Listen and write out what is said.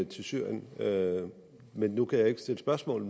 til syrien syrien nu kan jeg ikke stille spørgsmål